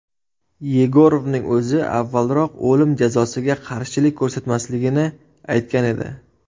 Yegorovning o‘zi avvalroq o‘lim jazosiga qarshilik ko‘rsatmasligini aytgan edi.